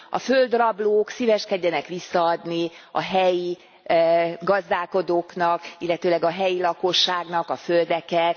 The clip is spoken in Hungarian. A földrablók szíveskedjenek visszaadni a helyi gazdálkodóknak, illetőleg a helyi lakosságnak a földeket.